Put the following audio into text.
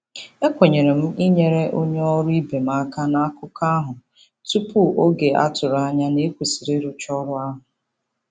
E kwenyere m inyere onye ọrụ ibe m aka n'akụkọ ahụ tupu oge a tụrụ anya na e kwesịrị ịrụcha ọrụ ahụ.